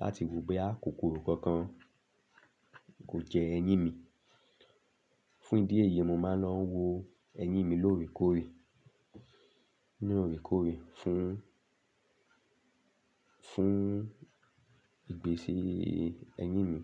láti wo boyá kòkoro kankan, kò jẹ eyín mi. Fún ìdí èyí, mo máa ń lọ wo eyín mi lóòrèkóòrè, ní òrèkóòrè fún, fún ìgbésí eyín mi.